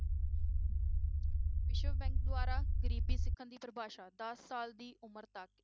ਵਿਸ਼ਵ bank ਦੁਆਰਾ ਗਰੀਬੀ ਸਿੱਖਣ ਦੀ ਪਰਿਭਾਸ਼ਾ ਦਸ ਸਾਲ ਦੀ ਉਮਰ ਤੱਕ